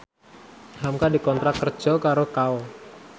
hamka dikontrak kerja karo Kao